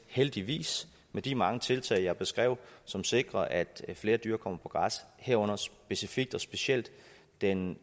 heldigvis med de mange tiltag jeg beskrev som sikrer at flere dyr kommer på græs herunder specifikt og specielt den